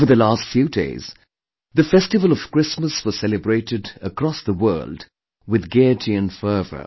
Over the last few days, the festival of Christmas was celebrated across the world with gaiety and fervor